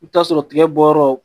I bɛ t'a sɔrɔ tigɛbɔ yɔrɔ